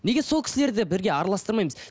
неге сол кісілерді бірге араластырмаймыз